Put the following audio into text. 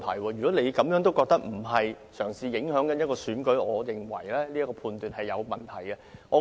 如果你認為她並非試圖影響選舉，我認為你的判斷也有商榷餘地。